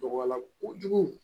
Dɔgɔya la kojugu